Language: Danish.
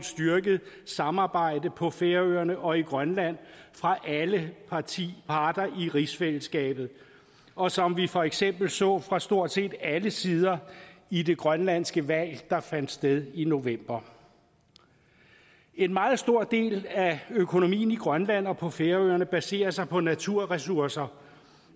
styrket samarbejde på færøerne og i grønland fra alle parter i rigsfællesskabet og som vi for eksempel så fra stort set alle sider i det grønlandske valg der fandt sted i november en meget stor del af økonomien i grønland og på færøerne baserer sig på naturressourcer